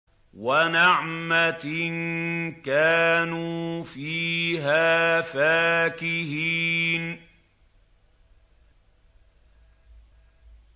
وَنَعْمَةٍ كَانُوا فِيهَا فَاكِهِينَ